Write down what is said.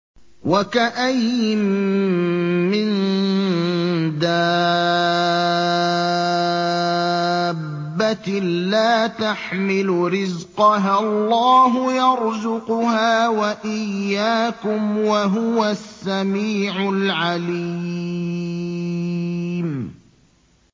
وَكَأَيِّن مِّن دَابَّةٍ لَّا تَحْمِلُ رِزْقَهَا اللَّهُ يَرْزُقُهَا وَإِيَّاكُمْ ۚ وَهُوَ السَّمِيعُ الْعَلِيمُ